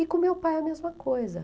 E com meu pai a mesma coisa.